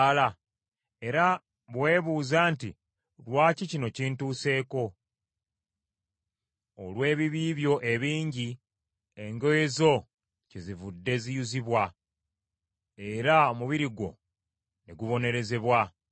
Era bwe weebuuza nti, “Lwaki kino kintuseeko?” Olw’ebibi byo ebingi engoye zo kyezivudde ziyuzibwa, era omubiri gwo ne gubonerezebwa.